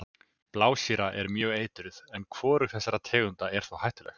Blásýra er mjög eitruð en hvorug þessara tegunda er þó hættuleg.